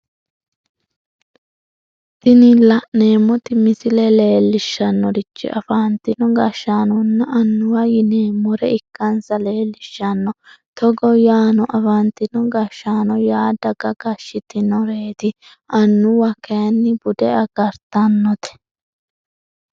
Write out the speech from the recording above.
tini la'neemmoti misile leellishshannorichi afantino gashshaanonna annuwa yineemmore ikkansa leellishshanno togo yaano afantino gashshaano yaa daga gashshitinoreeti annuwa kayni bude agartannote